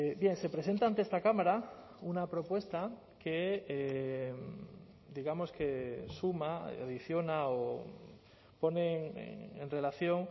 bien se presenta ante esta cámara una propuesta que digamos que suma adiciona o pone en relación